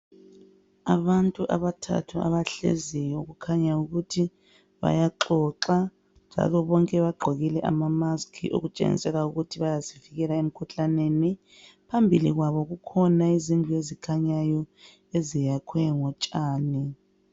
Abantu abathathu abahleziyo kukhanya ukuthi bayaxoxa njalo bonke bagqokile ama mask okutshengisela ukuthi bayazivikela emkhuhlaneni, phambili kwabo kukhona izindlu ezikhnyayo eziyakhwe ngotshani.